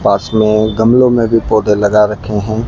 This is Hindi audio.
पास में गमलों में भी पौधे लगा रखे हैं।